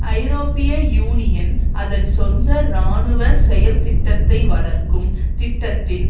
ஐரோப்பிய யூனியன் அதன்சொந்த இராணுவ செயல்திட்டத்தைவளர்க்கும் திட்டத்தின்